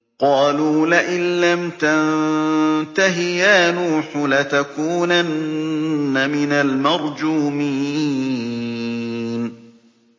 قَالُوا لَئِن لَّمْ تَنتَهِ يَا نُوحُ لَتَكُونَنَّ مِنَ الْمَرْجُومِينَ